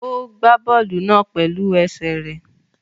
Ó gbá bọ́ọ̀lù náà pẹ̀lú ẹsẹ̀ rẹ̀